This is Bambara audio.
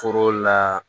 Foro la